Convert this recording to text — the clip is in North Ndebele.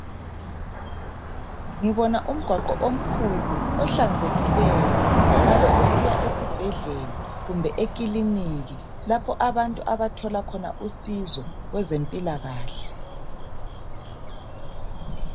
Ngibona umgwaqo omkhulu ohlanzekileyo ongabe usiya esibhedlela kumbe ekiliniki lapho abantu abathola khona usizo kwezempilakahle.